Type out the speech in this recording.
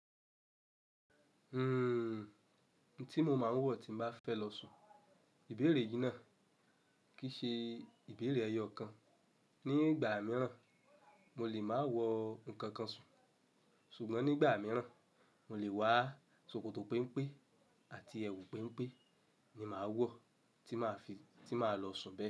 Uhm, n tí mo máa ń wọ̀ tí n bá fẹ́ lọ sùn, ìbèérè yìí náà kì í ṣe ìbèérè ẹyọ kan. Ni ìgbà mìíràn mo lè máa wọ ǹkan kan sùn, ṣùgbọ́n nígbà mìíràn mo lè wá sòkòtò péńpé àti ẹwù péńpé ni màá wọ̀ tí màá fi, ti maa lọ sùn bẹ́ẹ̀.